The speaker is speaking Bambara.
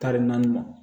Tari naani